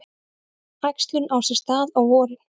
Æxlun á sér stað á vorin.